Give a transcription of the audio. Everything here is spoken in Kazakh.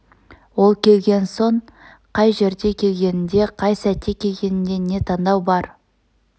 ол келген соң қай жерде келгенінде қай сәтте келгеннде не таңдау бар